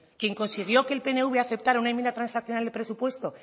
quien consiguió que el pnv aceptará una enmienda transaccional de presupuesto